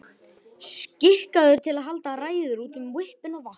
Skikkaður til að halda ræður út um hvippinn og hvappinn.